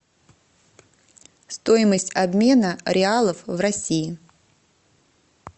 стоимость обмена реалов в россии